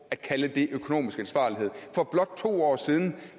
at kalde det økonomisk ansvarlighed for blot to år siden